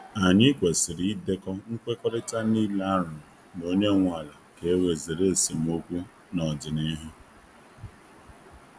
Anyị kwesịrị idekọ nkwekọrịta niile a rụrụ na onye nwe ala ka e wee zere esemokwu n’ọdịnihu.